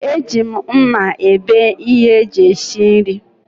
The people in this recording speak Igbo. Eji mma ebe ihe eji esi nri